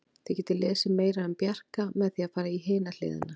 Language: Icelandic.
Þið getið lesið meira um Bjarka með því að fara í hina hliðina.